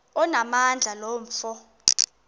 onamandla lo mfo